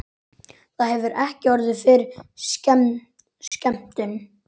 Það hefur ekki orðið fyrir skemmdum?